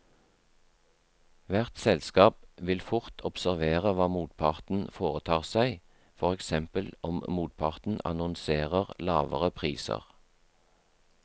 Hvert selskap vil fort observere hva motparten foretar seg, for eksempel om motparten annonserer lavere priser.